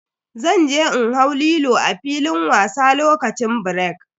Zan je in hau Lilo a filin wasa lokacin birek.